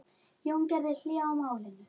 Jón gerði hlé á málinu.